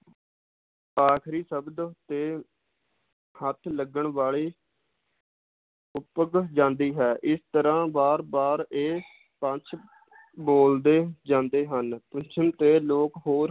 ਆਖਰੀ ਸ਼ਬਦ ਤੇ ਹੱਥ ਲੱਗਣ ਵਾਲੀ ਉਪਕ ਜਾਂਦੀ ਹੈ ਇਸ ਤਰਾਹ ਬਾਰ ਬਾਰ ਇਹ ਪੰਜ ਬੋਲਦੇ ਜਾਂਦੇ ਹਨ ਪੁੱਛਣ ਤੇ ਲੋਕ ਹੋਰ